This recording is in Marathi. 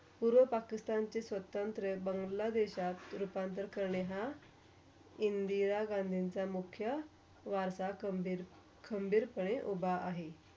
पूर्व पाकिस्तानचे स्वतंत्र बांग्लादेशत रूपांतर करने हा, इंदिरा गांधीचा मुख्या, वारता खंबीर ~खंबीर पणे उभा आहे.